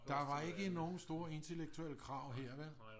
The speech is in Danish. Der var ikke nogen store intellektuelle krav her vel